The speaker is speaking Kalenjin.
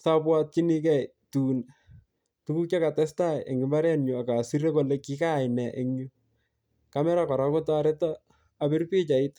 sobwotyinikei tun tukuk che katestai eng imbarenyu, akasir kole kikaai nee engyu, camera kora kotoreto abir pichait.